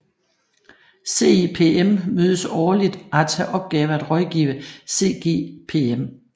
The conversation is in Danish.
CIPM mødes årligt og har til opgave af rådgive CGPM